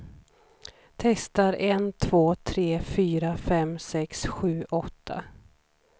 Testar en två tre fyra fem sex sju åtta.